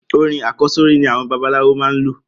Orin àkọ́sórí ni àwọn babaláwo máa n lò.